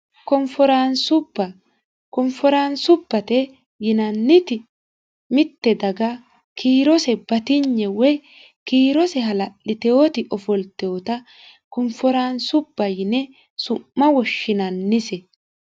konforaansubba konforaansubate yinanniti mitte daga kiirose batinye woy kiirose hala'litewoti ofolteota konforaansuba yine su'ma woshshinannise